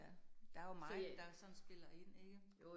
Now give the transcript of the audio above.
Ja, der jo meget, der sådan spiller ind ikke